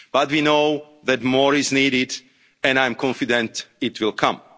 the Commission. But we know that more is needed and I am confident